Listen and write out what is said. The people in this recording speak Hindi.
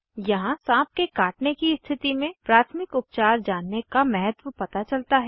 यहाँ साँप के काटने की स्थिति में प्राथमिक उपचार जानने का महत्व पता चलता है